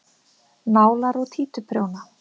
Nálar og títuprjóna.